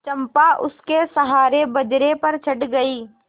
चंपा उसके सहारे बजरे पर चढ़ गई